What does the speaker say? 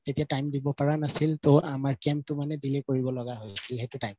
তেতিয়া time দিব পাৰা নাছিল ত আমাৰ camp তো মানে delay কৰিব লাগা হৈ আছিল সেইটো time ত